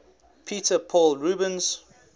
peter paul rubens